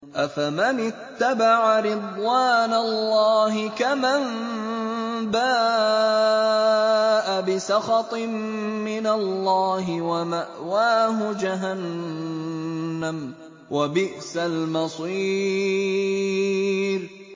أَفَمَنِ اتَّبَعَ رِضْوَانَ اللَّهِ كَمَن بَاءَ بِسَخَطٍ مِّنَ اللَّهِ وَمَأْوَاهُ جَهَنَّمُ ۚ وَبِئْسَ الْمَصِيرُ